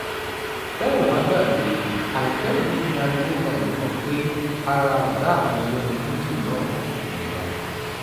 tẹ́ ò bá gbàgbé àìpẹ́ yìí ni ariwo gba ìlú kan pé ara ọ̀gá àwọn olórin fuji náà kò yá